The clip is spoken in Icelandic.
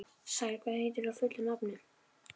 Sær, hvað heitir þú fullu nafni?